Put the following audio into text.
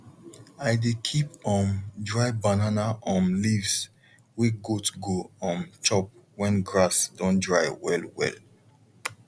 i dey keep um dry banana um leaves way goat go um chop when grass don dry well well